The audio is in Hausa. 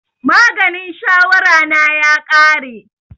Maganin shawara na ya ƙare